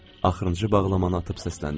Axırıncı bağlamanı atıb səsləndim.